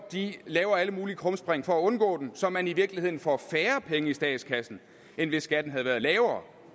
laver alle mulige krumspring for at undgå den så man i virkeligheden får færre penge i statskassen end hvis skatten havde været lavere